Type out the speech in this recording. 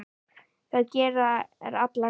Það gerir alla glaða.